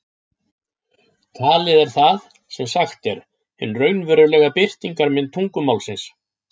Talið er það sem sagt er, hin raunverulega birtingarmynd tungumálsins.